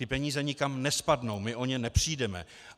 Ty peníze nikam nespadnou, my o ně nepřijdeme.